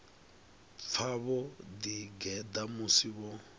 pfa vho ḓigeḓa musi vho